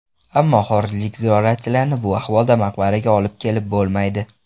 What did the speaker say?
Ammo xorijlik ziyoratchilarni bu ahvolda maqbaraga olib kelib bo‘lmaydi.